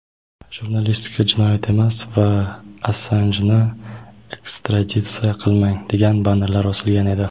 "Jurnalistika jinoyat emas" va "Assanjni ekstraditsiya qilmang" degan bannerlar osilgan edi.